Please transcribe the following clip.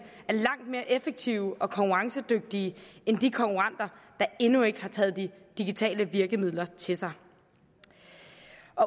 er langt mere effektive og konkurrencedygtige end de konkurrenter der endnu ikke har taget de digitale virkemidler til sig